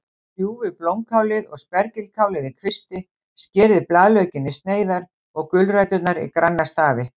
Kljúfið blómkálið og spergilkálið í kvisti, skerið blaðlaukinn í sneiðar og gulræturnar í granna stafi.